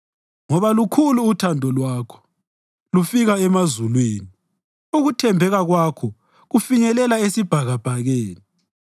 Ngoba lukhulu uthando lwakho, lufika emazulwini; ukuthembeka kwakho kufinyelela esibhakabhakeni.